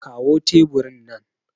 kawo teburin nan